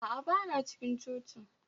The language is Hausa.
A'a, ba na cikin cocin